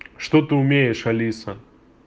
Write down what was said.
что ты умеешь алиса